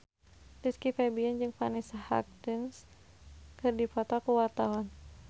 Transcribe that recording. Rizky Febian jeung Vanessa Hudgens keur dipoto ku wartawan